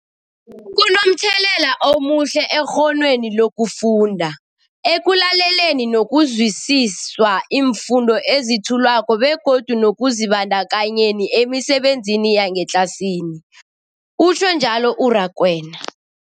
Kunomthelela omuhle ekghonweni lokufunda, ekulaleleni nokuzwisiswa iimfundo ezethulwako begodu nekuzibandakanyeni emisebenzini yangetlasini, utjhwe njalo u-Rakwena.